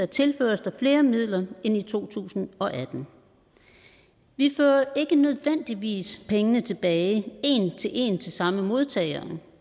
tilføres der flere midler end i to tusind og atten vi fører ikke nødvendigvis pengene tilbage en til en til samme modtager